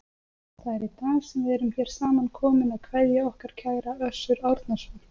Það er í dag sem við erum hér samankomin að kveðja okkar kæra Össur Árnason.